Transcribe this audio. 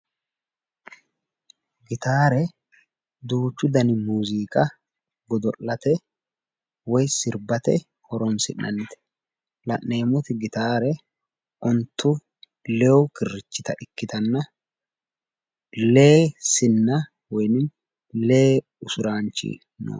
Gitaare duuchu dani muuziiqa godo'late woyi sirbate horoonsi'nannite. La'neemmoti gitaare ontu lewu kirrichcita ikkitanna lee sinna woyi lee usuraanchi no.